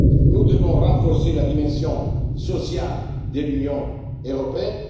Nous devons renforcer la dimension sociale de l'Union européenne.